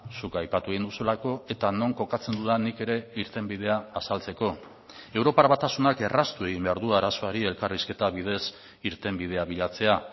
zuk aipatu egin duzulako eta non kokatzen dudan nik ere irtenbidea azaltzeko europar batasunak erraztu egin behar du arazoari elkarrizketa bidez irtenbidea bilatzea